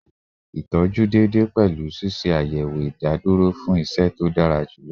Itọju deede pẹlu ṣiṣe ayẹwo idaduro fun iṣẹ to dara julọ